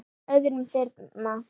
öðrum þyrma.